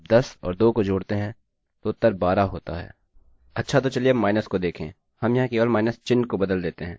अच्छा तो चलिए अब माइनस घटाव को देखें हम यहाँ केवल माइनस चिह्न को बदल देते हैं